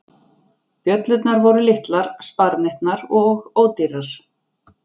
Bjöllurnar voru litlar, sparneytnar og ódýrar.